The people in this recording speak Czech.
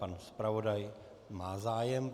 Pan zpravodaj má zájem.